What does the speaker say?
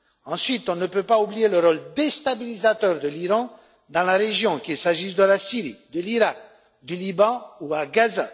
Ensuite, on ne peut pas oublier le rôle déstabilisateur de l'Iran dans la région, qu'il s'agisse de la Syrie, de l'Iraq, du Liban ou de Gaza.